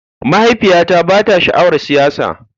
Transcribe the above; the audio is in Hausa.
Mahaifiyata ba ta sha'awar siyasa